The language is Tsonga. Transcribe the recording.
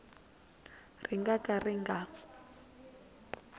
ri nga ka ri nga